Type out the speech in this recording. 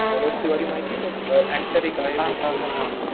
मनोज तिवारी माहितीये का एक्टर एक आहे भोजपुरीचा